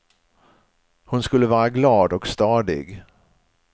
Hon skulle vara glad och stadig.